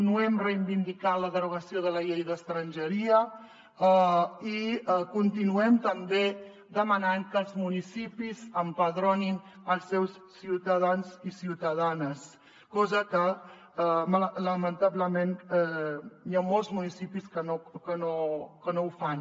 no hem reivindicat la derogació de la llei d’estrangeria i continuem també demanant que els municipis empadronin els seus ciutadans i ciutadanes cosa que lamentablement hi ha molts municipis que no fan